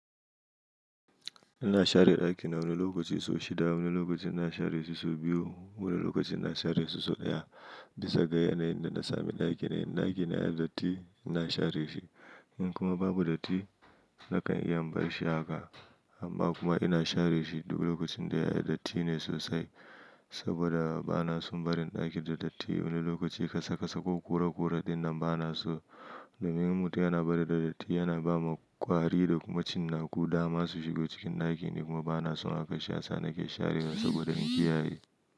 Ina share ɗaki na wani lokaci sau shida, wani lokaci na share shi sau biyu, wani lokaci na share shi sau ɗaya. Bisa ga yanayin da na sami ɗakina. In ɗakina ya yi datti ina share shi. In kuma babu datti nakan iya in bar shi haka. Amma kuma ina share shi duk lokacin da ya yi datti ne sosai. Saboda ba na son barin ɗakin da datti. Wani lokaci kasakasa ko ƙuraƙura dinnan ba na so. Domin mutum yana barin da datti yana bawa ƙwari da kuma cinnaku dama su shigo cikin ɗaki. Ni kuma ba na son haka shasa nake sharewa saboda in kiyaye.